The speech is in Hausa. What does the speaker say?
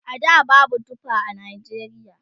a da babu tufa a Najeriya